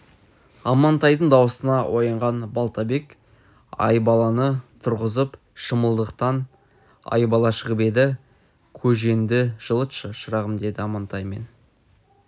амантайдың даусына оянған балтабек айбаланы тұрғызып шымылдықтан айбала шығып еді көжеңді жылтшы шырағым деді амантай мен